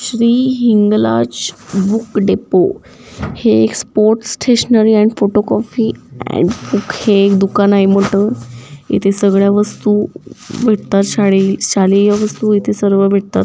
Shri Hinglaj book depot हे एक sports stationery आणि फोटो कॉपी अँड बूक दुकान आहे मोठ इथे सगळ्या वस्तु भेटतात शाळे शालेय वस्तु एथे सर्व भेटतात.